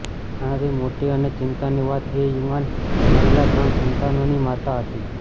આનાથી મોટી અને ચિંતાની વાત એ યુવાન મહિલા ત્રણ સંતાનોની માતા હતી